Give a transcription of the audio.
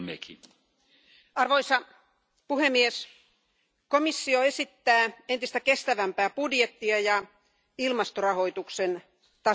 Arvoisa puhemies, komissio esittää entistä kestävämpää budjettia ja ilmastorahoituksen tason nostamista.